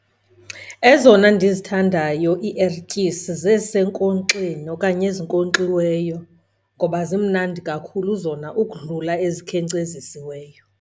Ezona ndizithandayo iiertyisi zezisenkonkxeni okanye ezinkonkxiweyo ngoba zimnandi kakhulu zona ukudlula ezikhenkcezisiweyo.